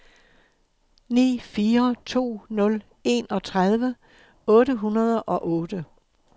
ni fire to nul enogtredive otte hundrede og otte